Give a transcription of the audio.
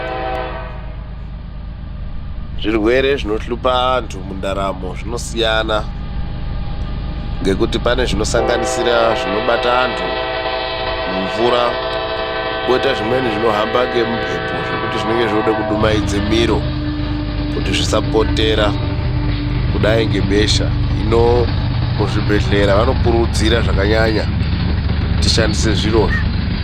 Zvirwere zvinohlupa antu muntaramo zvinosiyana , ngekuti pane svinosanganisira zvinobata antu mumvura kwoita zvimweni zvinohamba ngemumphepo , zvekuti zvinenge zvooda kudumhaidze miro kuti zvisapotera kudai ngebesha, hino muzvibhehlera vanokurudzira zvakanyanya kuti tishandise zvirozvo.